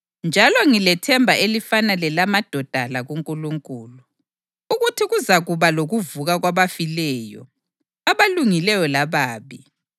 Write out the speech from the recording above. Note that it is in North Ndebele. njalo ngilethemba elifana lelamadoda la kuNkulunkulu, ukuthi kuzakuba lokuvuka kwabafileyo, abalungileyo lababi.